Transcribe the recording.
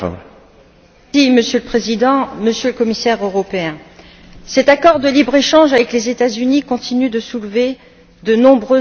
Monsieur le Président, Monsieur le Commissaire, cet accord de libre échange avec les États Unis continue de soulever de nombreuses interrogations.